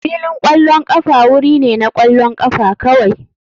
Filin ƙwallon ƙafa wuri ne na ƙwallon ƙafa kawai.